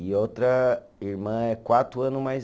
E outra irmã é quatro ano mais